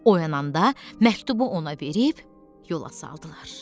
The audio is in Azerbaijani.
Oyananda məktubu ona verib yola saldılar.